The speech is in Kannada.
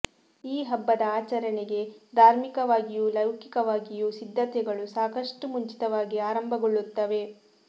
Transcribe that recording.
ಈ ಹಬ್ಬದ ಆಚರಣೆಗೆ ಧಾರ್ಮಿಕವಾಗಿಯೂ ಲೌಕಿಕವಾಗಿಯೂ ಸಿದ್ಧತೆಗಳು ಸಾಕಷ್ಟು ಮುಂಚಿತವಾಗಿ ಆರಂಭಗೊಳ್ಳುತ್ತವೆ